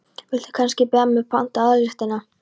Viltu kannski bíða með að panta aðalréttina?